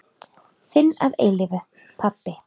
Þinn að eilífu, pabbi.